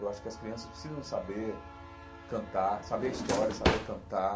Eu acho que as crianças precisam saber cantar, saber a história, saber cantar,